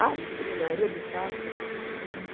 Acho que na maioria dos casos foi prejudicial.